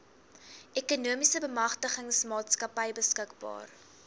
ekonomiese bemagtigingsmaatskappy beskikbaar